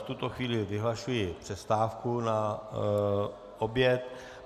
V tuto chvíli vyhlašuji přestávku na oběd.